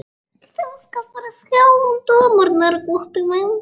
Þú skalt bara sjá um dömurnar, Gutti minn.